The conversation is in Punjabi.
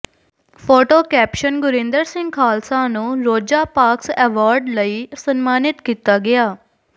ਫੋਟੋ ਕੈਪਸ਼ਨ ਗੁਰਿੰਦਰ ਸਿੰਘ ਖਾਲਸਾ ਨੂੰ ਰੋਜ਼ਾ ਪਾਰਕਸ ਐਵਾਰਡ ਲਈ ਸਨਮਾਨਿਤ ਕੀਤਾ ਗਿਆ